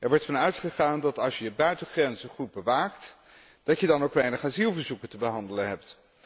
Er wordt van uitgegaan dat als je je buitengrenzen goed bewaakt, dat je dan ook weinig asielverzoeken te behandelen hebt.